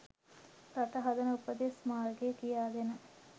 රට හදන උපදෙස් මාර්ගය කියාදෙන